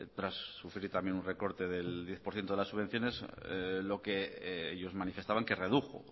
tras sufrir también un recorte del diez por ciento de las subvenciones lo que ellos manifestaban que redujo